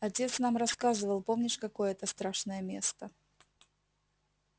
отец нам рассказывал помнишь какое это страшное место